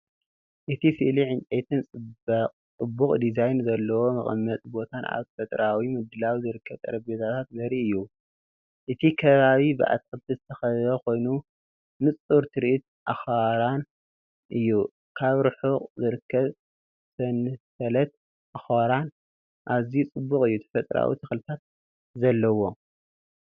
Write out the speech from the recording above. እቲ ስእሊ ዕንጨይቲን ጽቡቕ ዲዛይን ዘለዎን መቐመጢ ቦታን ኣብ ተፈጥሮኣዊ ምድላው ዝርከብ ጠረጴዛታትን ዘርኢ እዩ። እቲ ከባቢ ብኣትክልቲ ዝተኸበበ ኮይኑ ንጹር ትርኢት ኣኽራን እዩ። ኣብ ርሑቕ ዝርከብ ሰንሰለት ኣኽራን ኣዝዩ ጽቡቕ እዩ፣ ተፈጥሮኣዊ ተኽልታትን ኣለዎ።